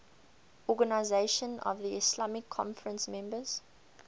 organisation of the islamic conference members